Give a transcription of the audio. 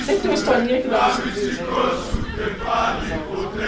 Sempre tem uma historinha que dá para ser de exemplo nas aulas, né?